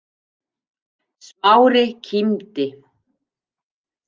Smári kímdi.